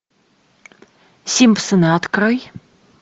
симпсоны открой